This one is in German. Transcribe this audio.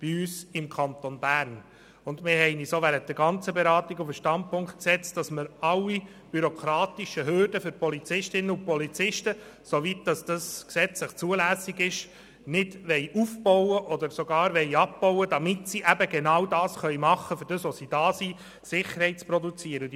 Wir haben uns auch während der gesamten Beratung auf den Standpunkt gestellt, dass wir alle bürokratischen Hürden für Polizistinnen und Polizisten, soweit es gesetzlich zulässig ist, nicht noch aufbauen, sondern diese sogar abbauen, damit sich die Polizistinnen und Polizisten auf die Produktion der Sicherheit konzentrieren können.